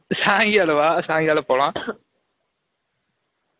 சாய்ங்காலம் வா சாய்ங்காலம் போலாம்